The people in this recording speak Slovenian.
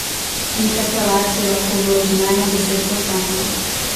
Interpelacijo lahko vloži najmanj deset poslancev.